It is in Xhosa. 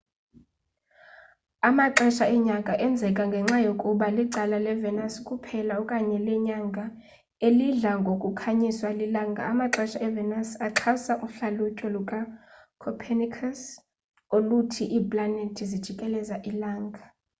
amaxesha enyanga enzeka ngenxa yokuba licala levenus kuphela okanye lenyanga elidla ngokukhanyiswa lilanga. amaxesha evenus axhasa uhlalutyo lukacopernicus oluthi iiplanethi zijikeleza ilanga